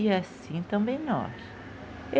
E assim também nós.